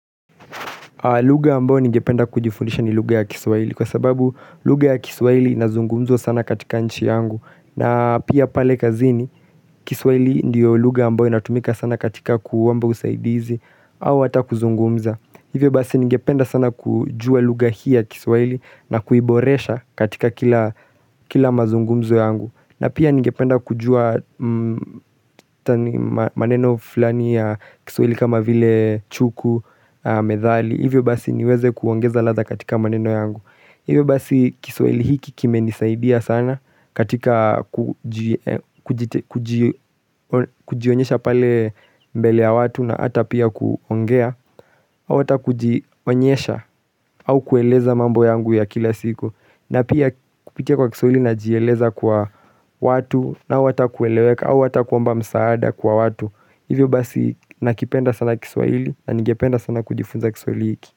Lugha ambayo ningependa kujifundisha ni lugha ya kiswahili kwa sababu lugha ya kiswahili inazungumzwa sana katika nchi yangu na pia pale kazini kiswahili ndiyo lugha ambayo inatumika sana katika kuomba usaidizi au hata kuzungumza Hivyo basi ningependa sana kujua lugha hii ya kiswahili na kuiboresha katika kila mazungumzo yangu na pia ningependa kujua maneno fulani ya kiswahili kama vile chuku, medhali Hivyo basi niweze kuongeza ladha katika maneno yangu Hivyo basi kiswahili hiki kimenisaidia sana katika kujionyesha pale mbele ya watu na ata pia kuongea au hata kujionyesha au kueleza mambo yangu ya kila siku na pia kupitia kwa kiswahili najieleza kwa watu au ata kueleweka au ata kuomba msaada kwa watu Hivyo basi nakipenda sana kiswahili na ningependa sana kujifunza kiswahili hiki.